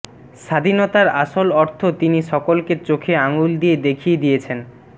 স্বাধীনতার আসল অর্থ তিনি সকলকে চোখে আঙুল দিয়ে দেখিয়ে দিয়েছেন